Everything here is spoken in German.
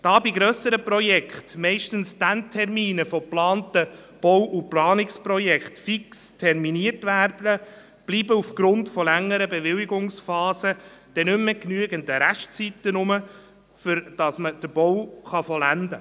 Da bei grösseren Projekten meist die Endtermine von geplanten Bau- und Planungsprojekten fix terminiert werden, bleiben aufgrund längerer Bewilligungsphasen dann nicht mehr genügend Restzeiten, um den Bau zu vollenden.